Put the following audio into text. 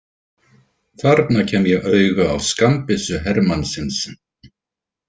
Þarna kem ég auga á skammbyssu hermannsins.